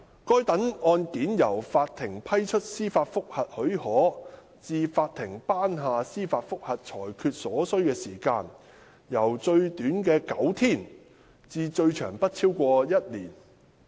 該等案件由法庭批出司法覆核許可至法庭頒下司法覆核裁決所需時間，由最短的9天至最長不超過一年。